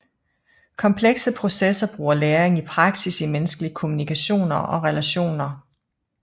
Komplekse processer bruger læring i praksis i menneskelige kommunikationer og relationer